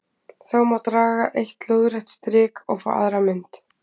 Þá má draga eitt lóðrétt strik og fá aðra mynd: